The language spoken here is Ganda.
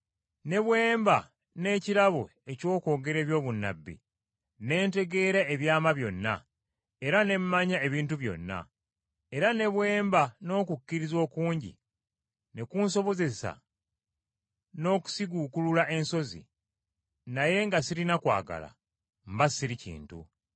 Ne bwe mba n’ekirabo eky’okwogera eby’obunnabbi, ne ntegeera ebyama byonna, era ne mmanya ebintu byonna, era ne bwe mba n’okukkiriza okungi ne kunsobozesa n’okusiguukulula ensozi, naye nga sirina kwagala, mba siri kintu.